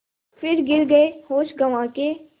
फिर गिर गये होश गँवा के